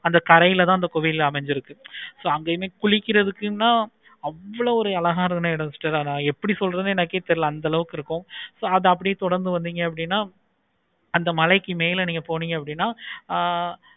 அந்த தரையில தான் அந்த கோவில் அமைஞ்சிருக்கு. குளிக்கிறதுக்கு தான் அவ்வளோ ஒரு அழகான youngster எப்படி சொல்றது எனக்கே தெரியல. so கத அப்படியே தொடர்ந்து வந்திங்க அப்படினா அந்த மழைக்கு மேல்ப நீங்க போனீங்கன்னா